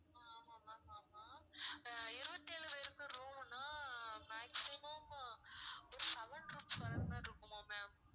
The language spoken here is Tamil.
அஹ் ஆமாம் ma'am ஆமாம் அஹ் இருவத்தி ஏழு பேருக்கு room னா maximum ஒரு seven rooms வர்றது மாதிரி இருக்குமா ma'am